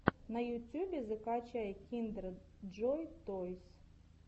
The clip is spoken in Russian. на ютюбе закачай киндер джой тойс